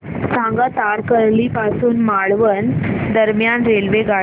सांगा तारकर्ली पासून मालवण दरम्यान रेल्वेगाडी